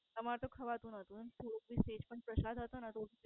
અમર તો ખવાતું નોતું. થોડું મેં Test પ્રસાદ હતો ને તો તે